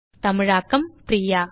தமிழாக்கம் பிரியா